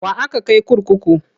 Wa aka kai kurkuku?